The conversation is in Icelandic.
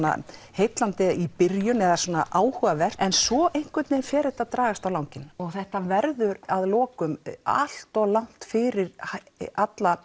heillandi í byrjun eða áhugavert en svo einhvern veginn fer þetta að dragast á langinn og þetta verður að lokum allt of langt fyrir alla